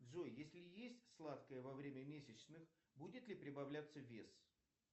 джой если есть сладкое во время месячных будет ли прибавляться вес